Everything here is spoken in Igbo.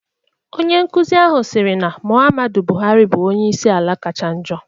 Onye nkuzi ahụ siri na Mụhammadu Bụhari bụrụ onyeisi ala kacha njo.